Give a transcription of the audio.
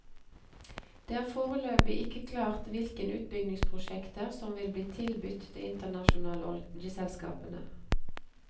Det er foreløpig ikke klart hvilke utbyggingsprosjekter som vil bli tilbudt de internasjonale oljeselskapene.